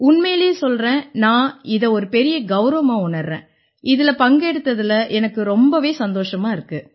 உண்மையிலே சொல்றேன் நான் இதை ஒரு பெரிய கௌரவமா உணர்றேன் இதில பங்கெடுத்ததுல எனக்கு ரொம்பவே சந்தோஷமா இருக்கு